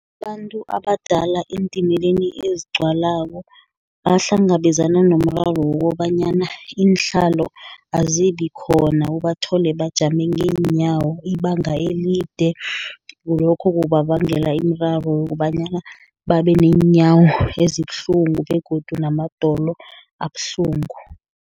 Abantu abadala eentimeni ezigcwalako, bahlangabezana nomraro wokobanyana iinhlalo azibi khona, ubathole bajame ngeenyawo ibanga elide, kulokho kubabangela imiraro yokobanyana babe neenyawo ezibuhlungu, begodu namadolo abuhlungu.